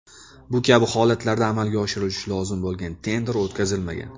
Bu kabi holatlarda amalga oshirilishi lozim bo‘lgan tender o‘tkazilmagan.